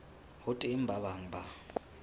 ho teng ba bang ba